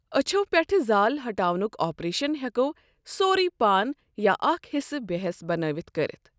اچھو پیٹھہٕ زال ہٹاونک آپریشن ہٮ۪كو سورے پان یا اكھ حِصہٕ بےٚ حیس بنٲوِتھ كٔرتھ۔